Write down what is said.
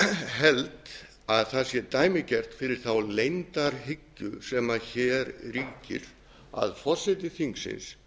held að það sé dæmigert fyrir þá leyndarhyggju sem hér ríkir að forseti þingsins